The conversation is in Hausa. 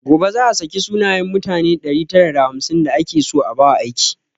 Gobe za a saki sunayen mutane ɗari tara da hamsin da ake so a ba wa aiki